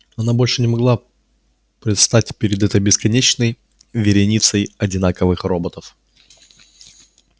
она больше не могла предстать перед этой бесконечной вереницей одинаковых роботов